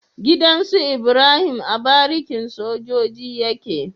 Gidan Ibrahim a barikin sojoji yake